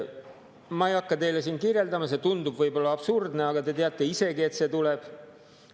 Ma ei hakka teile siin seda kirjeldama, see tundub võib-olla absurdne, aga te teate isegi, et see tuleb.